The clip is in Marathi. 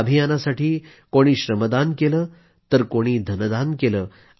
या अभियानासाठी कोणी श्रमदान केलं तर कोणी धनदान केलं